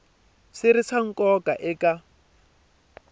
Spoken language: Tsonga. swi ri swa nkoka eka